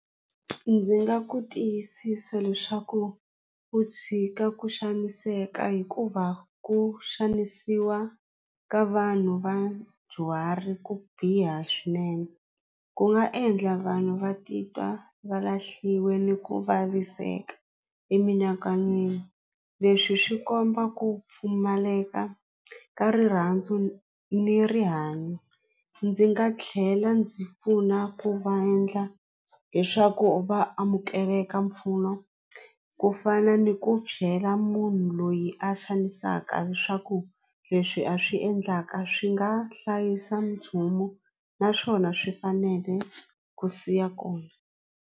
Ndzi nga ku tiyisisa leswaku u tshika ku xaniseka hikuva ku xanisiwa ka vanhu vadyuhari ku biha swinene ku nga endla vanhu va titwa va lahliwe ni ku vaviseka emianakanyweni leswi swi komba ku pfumaleka ka rirhandzu ni rihanyo ndzi nga tlhela ndzi pfuna ku va endla leswaku va amukeleka mpfuno ku fana ni ku byela munhu loyi a xanisaka leswaku leswi a swi endlaka swi nga hlayisa naswona swi fanele ku siya kona.